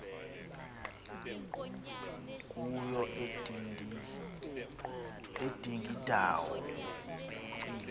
kuyo udingindawo kukucinga